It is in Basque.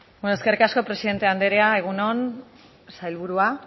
beno eskerrik asko presidente anderea egun on sailburua